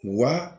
Wa